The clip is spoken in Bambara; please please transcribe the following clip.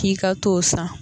K'i ka t'o san